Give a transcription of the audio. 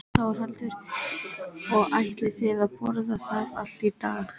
Þórhildur: Og ætlið þið að borða það allt í dag?